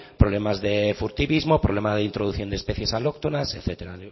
problemas de furtivismo problema de introducción de especies alóctonas etcétera